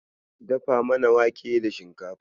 Dafa mana wake da shinkafa.